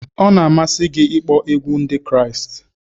Ọ na-amasị gị ịkpọ egwu Ndị Kraịst?